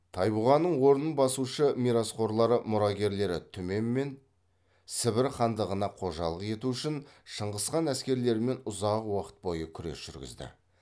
тайбұғаның орнын басушы мирасқорлары мұрагерлері түмен мен сібір хандығына қожалық ету үшін шыңғысхан әскерлерімен ұзақ уақыт бойы күрес жүргізді